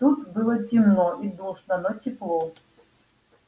тут было темно и душно но тепло